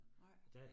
Nej